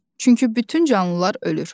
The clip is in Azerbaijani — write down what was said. Çünki bütün canlılar ölür.